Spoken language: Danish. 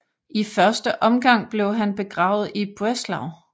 I første omgang blev han begravet i Breslau